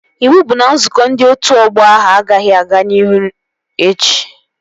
Iwu bụ na nzukọ ndị otu ọgbọ ahụ agaghị aga n'iru echi!